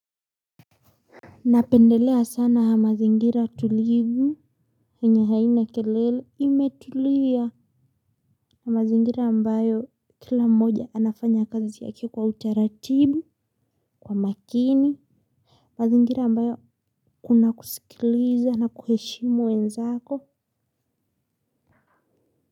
Napendelea sana mazingira tulivu yenye haina kelele imetulia mazingira ambayo kila mmoja anafanya kazi yake kwa utaratibu, kwa makini, ma zingira ambayo kuna kusikiliza na kuheshimu wenzako.